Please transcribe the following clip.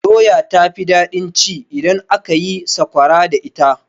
Doya ta fi daɗin ci idan aka yi sakwara da ita.